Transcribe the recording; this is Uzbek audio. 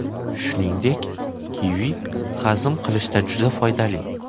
Shuningdek, kivi hazm qilishda juda foydali.